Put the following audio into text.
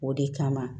O de kama